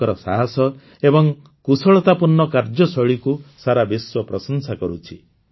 ତାଙ୍କର ସାହସ ଏବଂ କୁଶଳତାପୂର୍ଣ୍ଣ କାର୍ଯ୍ୟଶୈଳୀକୁ ସାରା ବିଶ୍ୱ ପ୍ରଶଂସା କରୁଛି